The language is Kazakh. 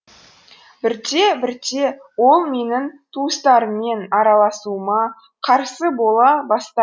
бірте бірте ол менің туыстарыммен араласуыма қарсы бола бастады